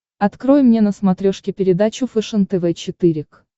открой мне на смотрешке передачу фэшен тв четыре к